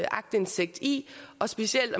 aktindsigt i specielt